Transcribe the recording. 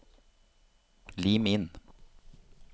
Lim inn